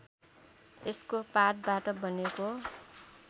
यसको पातबाट बनेको